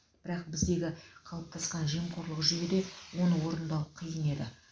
бірақ біздегі қалыптасқан жемқорлық жүйеде оны орындау қиын еді